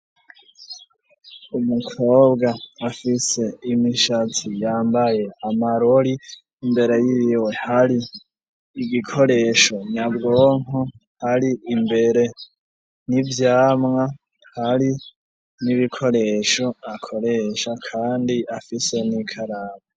Umukobwa afise imishatsi yambaye amarori imbere y'iwe hari igikoresho nyabwonko hari imbere n'ivyamwa hari n'ibikoresho akoresha kandi afise n'ikaraba.